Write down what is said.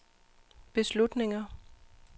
beslutninger